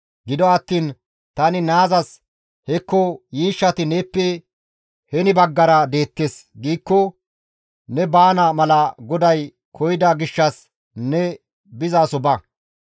Gido attiin tani naazas, ‹Hekko yiishshati neeppe heni baggara deettes!› giikko, ne baana mala GODAY koyida gishshas ne bizaso ba.